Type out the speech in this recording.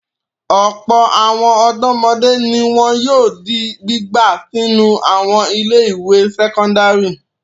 Ọ̀pọ̀ àwọn ọ̀dọ́mọdé ni wọn yóò di gbígbà sínú àwọn ilé-ìwé sẹ́kọ́ndárì.